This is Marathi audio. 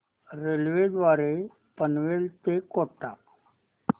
रेल्वे द्वारे पनवेल ते कोटा